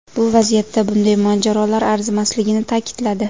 Bu vaziyatda bunday mojarolar arzimasligini ta’kidladi.